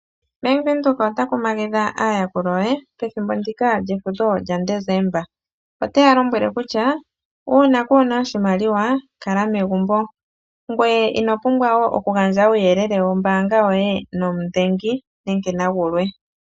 Bank Windhoek ota kumagidha aayakulwa ye pethimbo ndika lyefudho lyaDesemba. Ote ya lombwele kutya, uuna kuu na oshimaliwa, kala megumbo. Ngoye ino pumbwa wo okugandja uuyelele wombaanga yoye nomudhengi nenge nagulwe.